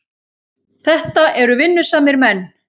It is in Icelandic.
Þetta eru vinnusamir menn.